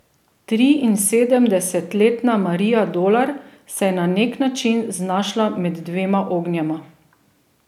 Triinsedemdesetletna Marija Dolar se je na neki način znašla med dvema ognjema.